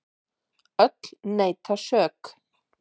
Öll neita sök.